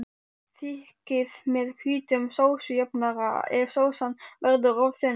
Þykkið með hvítum sósujafnara ef sósan verður of þunn.